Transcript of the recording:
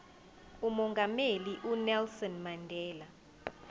umongameli unelson mandela